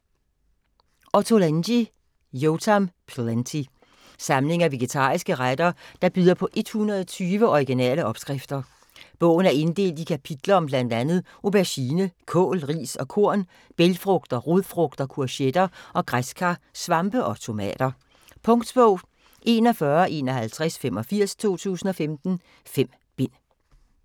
Ottolenghi, Yotam: Plenty Samling af vegetariske retter der byder på 120 originale opskrifter. Bogen er inddelt i kapitler om bl.a. auberginer, kål, ris og korn, bælgfrugter, rodfrugter, courgetter og græskar, svampe og tomater. Punktbog 415185 2015. 5 bind.